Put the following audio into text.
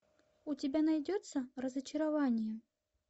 у тебя найдется разочарование